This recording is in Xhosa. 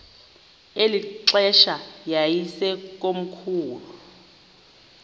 eli xesha yayisekomkhulu